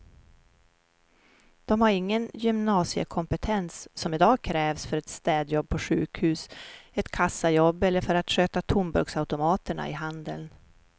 De har ingen gymnasiekompetens som i dag krävs för ett städjobb på sjukhus, ett kassajobb eller för att sköta tomburksautomaterna i handeln.